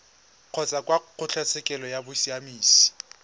kgotsa kwa kgotlatshekelo ya bosiamisi